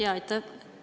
Jaa, aitäh!